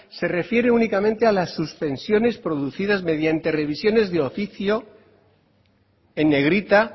se refiere únicamente a la suspensiones producidas mediante revisiones de oficio en negrita